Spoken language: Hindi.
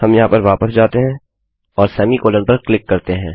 हम यहाँ पर वापस जाते हैं और अर्धविराम पर क्लिक करते हैं